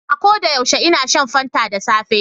A koda yaushe ina shan fanta da safe